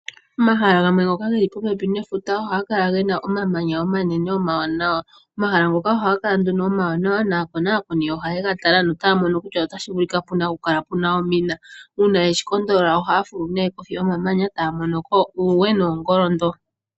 Omahala gamwe ngoka ge li popepi nefuta ohaga kala ge na omamanya omanene omawanawa. Omahala ngoka oohaga kala nduno omawanawa naakonakoni ohaye ga tala notaya mono kutya otashi vulika pu na okukala pu na omina. Uuna ye shi konakona ohaa fulu nee kohi yomamanya taya mono ko uuwe niingoli.